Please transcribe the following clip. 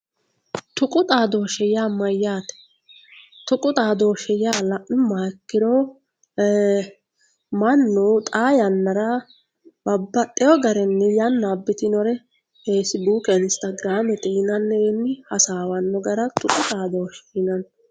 tuqu xadooshshe yaa mayyaate? tuqu xaadooshshe yaa la'nummoha ikkiro mannu xaa yannara babbaxxeyo garinni yanna abbitinore feesibuuke inistagiraamete yinannirinni hasaawanno gara tuqu xaadooshshe yinanni